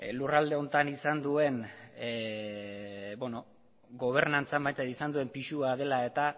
lurralde honetan izan duen gobernantzan izan duen pisua dela eta